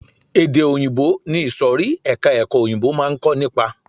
Èdè òyìnbó ni ìsòrí ẹka ẹ̀kọ́ òyìnbó máa ń kó nípa.